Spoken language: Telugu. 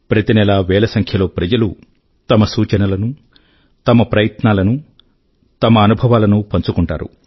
ప్రతి నెలా వేల సంఖ్య లో ప్రజలు తమ సూచనల ను తమ ప్రయత్నాలను తమ అనుభవాలను పంచుకుంటారు